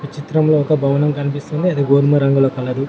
చిత్రంలో ఒక భవనం కనిపిస్తుంది. అది గోధుమ రంగులో కలరు .